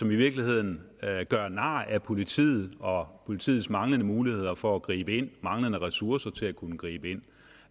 i virkeligheden nar ad politiet og politiets manglende muligheder for at gribe ind manglende ressourcer til at kunne gribe ind